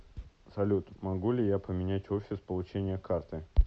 салют могу ли я поменять офис получения карты